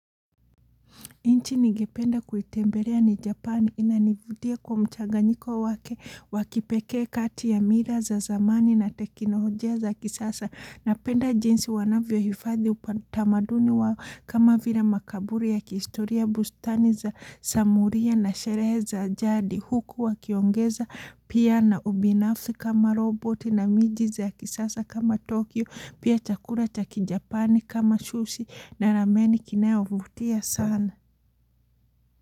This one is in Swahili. Inchi nigependa kuitembelea ni Japani inanivutia kwa mchaganyiko wake wakipeke kati ya mira za zamani na tekinolojia za kisasa na penda jinsi wanavyo hifadhi upatamaduni wao kama vila makaburi ya kiistoria bustani za samuria na sherehe za jadi huku wakiongeza pia na ubinafsi kama roboti na miji za kisasa kama Tokyo pia chakura chaki Japani kama shusi na rameni kinayo vutia sana.